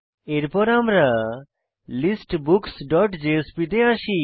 এরপর আমরা listbooksজেএসপি তে আসি